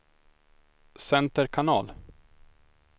center kanal